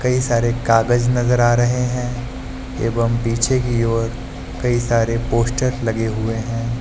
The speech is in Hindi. कई सारे कागज नजर आ रहे हैं एवं पीछे की ओर कई सारे पोस्टर लगे हुए हैं।